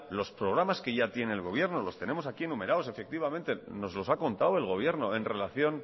los programas que ya tiene el gobierno los tenemos aquí numerados efectivamente nos los ha contado el gobierno en relación